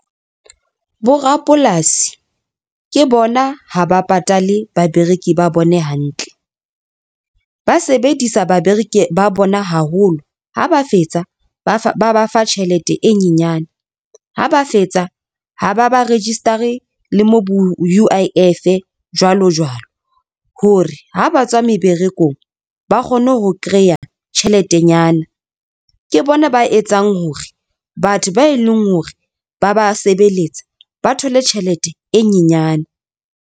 Bo rapolasi ke bona ha ba patale babereki ba bone hantle, ba sebedisa babereki ba bona haholo. Ha ba fetsa ba ba fa tjhelete e nyenyane, ha ba fetsa ha ba ba register-e le U_I_F jwalo jwalo hore ha ba tswa meberekong, ba kgone ho kreya tjheletenyana ke bona ba etsang hore batho ba eleng hore ba ba sebeletsa, ba thole tjhelete e nyenyane.